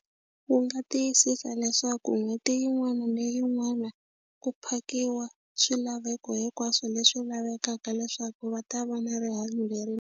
Wu nga tiyisisa leswaku n'hweti yin'wana na yin'wana ku phakiwa swilaveko hinkwaswo leswi lavekaka leswaku va ta va na rihanyo .